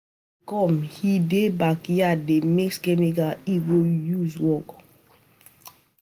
Ade dey come, he dey backyard dey mix chemical he go use work